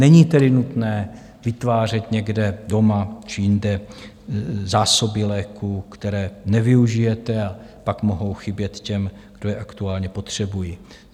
Není tedy nutné vytvářet někde doma či jinde zásoby léků, které nevyužijete a pak mohou chybět těm, kdo je aktuálně potřebují.